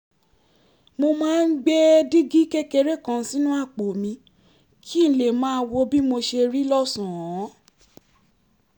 mo máa ń gbé dígí kékeré kan sínú àpò mi kí n lè máa wo bí mo ṣe rí lọ́sàn-án